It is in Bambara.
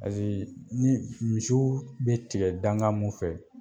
Paseke ni misiw bɛ tigɛ dankan mun fɛ